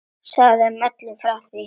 Og sagt öllum frá því.